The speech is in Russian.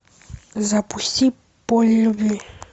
запусти поле любви